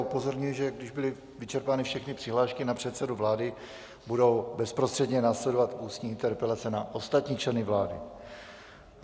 Upozorňuji, že když byly vyčerpány všechny přihlášky na předsedu vlády, budou bezprostředně následovat ústní interpelace na ostatní členy vlády.